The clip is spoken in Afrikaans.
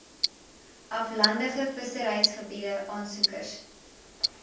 aflandige visserygebiede aansoekers